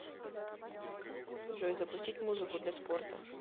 джой запустить музыку для спорта